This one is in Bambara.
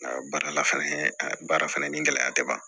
Nka baara la fɛnɛ baara fɛnɛ ni gɛlɛya te ban